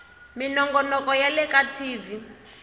minongonoko ya le ka tv